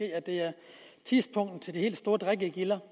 at det er tidspunktet til de helt store drikkegilder